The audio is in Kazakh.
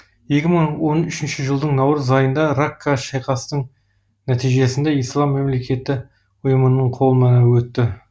екі мың он үшінші жылдың наурыз айында ракқа шайқастың нәтижесінде ислам мемлекеті ұйымының қолына өтті